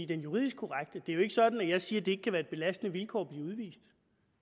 den juridisk korrekte det er jo ikke sådan at jeg siger at det ikke kan være et belastende vilkår at blive udvist